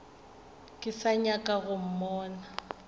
ke sa nyaka go mmona